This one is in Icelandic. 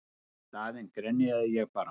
Í staðinn grenjaði ég bara.